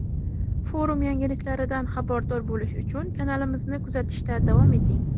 Forum yangiliklaridan xabardor bo‘lish uchun kanalimizni kuzatishda davom eting.